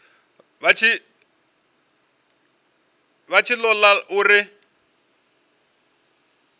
vha tshi ṱo ḓa uri